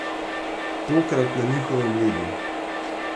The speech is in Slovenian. Tokrat na njihovem ledu!